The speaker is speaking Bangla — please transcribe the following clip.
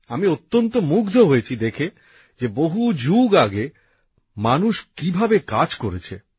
আমি দেখে অত্যন্ত মুগ্ধ হয়েছি যে বহু যুগ আগে মানুষ সেখানে কীভাবে কাজ করেছে